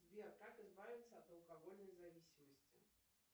сбер как избавиться от алкогольной зависимости